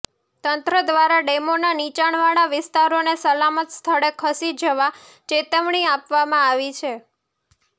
તંત્ર દ્વારા ડેમોના નીચાણવાળા વિસ્તારોને સલામત સ્થળે ખસી જવા ચેતવણી આપવામાં આવી છે